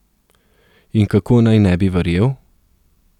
In kako naj ne bi verjel?